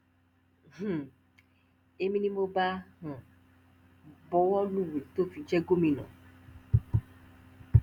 um èmi ni mo bá a um buwó lùwèé tó fi jẹ́ gómìnà